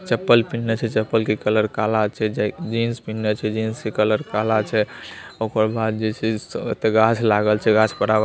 चप्पल पहिने छै चप्पल के कलर काला छै जै- जींस पिहने छै जींस के कलर काला छै ओकर बाद जे छै ओयता गाछ लागल छै गाछ पर--